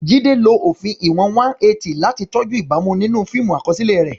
Jide lo òfin ìwọ̀n 180 láti tọ́jú ìbámu nínú fíìmù àkọsílẹ̀ rẹ̀.